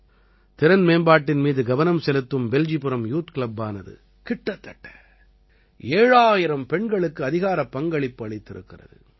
திறன் மேம்பாட்டின் மீது கவனம் செலுத்தும் பெல்ஜிபுரம் யூத் கிளப்பானது கிட்டத்தட்ட 7000 பெண்களுக்கு அதிகாரப்பங்களிப்பு அளித்திருக்கிறது